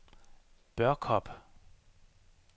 Børkop